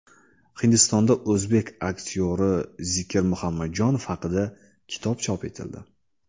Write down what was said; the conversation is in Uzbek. Hindistonda o‘zbek aktyori Zikir Muhammadjonov haqida kitob chop etildi.